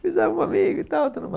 Fizemos um amigo e tal, tudo mais.